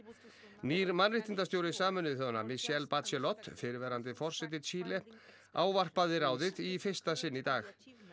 nýr mannréttindastjóri Sameinuðu þjóðanna Michelle Bachelot fyrrverandi forseti Chile ávarpaði ráðið í fyrsta sinn í dag